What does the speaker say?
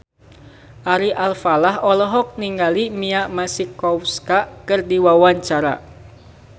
Ari Alfalah olohok ningali Mia Masikowska keur diwawancara